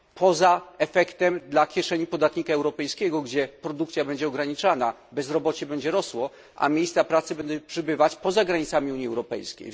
Poza efektem dla kieszeni podatnika europejskiego, gdzie produkcja będzie ograniczana, bezrobocie będzie rosło, a miejsc pracy będzie przybywać poza granicami Unii Europejskiej.